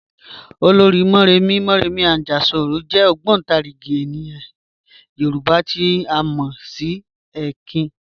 Ọlọ́rì̀ Mọ̀remí (Mọ̀remí Àjàṣorò) jẹ̀ ogbontarigi ènìyàn Yorùbá tí a mọ sí ẹ̀kìn."